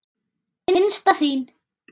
Hinsta þín.